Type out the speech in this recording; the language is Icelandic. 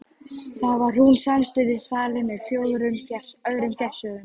Þar var hún samstundis falin með öðrum fjársjóðum.